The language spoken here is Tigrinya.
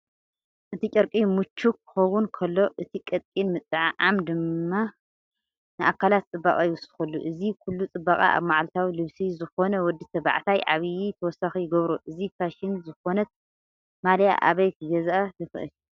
እቲ ጨርቂ ምቹእ ክኸውን ከሎ፡ እቲ ቀጢን ምጥዕዓም ድማ ንኣካላት ጽባቐ ይውስኸሉ። እዚ ኩሉ ጽባቐ ኣብ መዓልታዊ ልብሲ ዝኾነ ወዲ ተባዕታይ ዓቢይ ተወሳኺ ይገብሮ። እዛ ፋሽን ዝኾነት ማልያ ኣበይ ክገዝኣ ይኽእል?